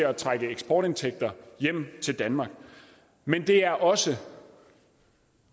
at trække eksportindtægter hjem til danmark men det er også